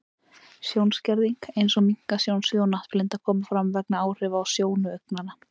Sjónskerðing, eins og minnkað sjónsvið og náttblinda, koma fram vegna áhrifa á sjónu augnanna.